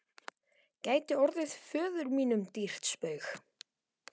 gæti orðið föður mínum dýrt spaug.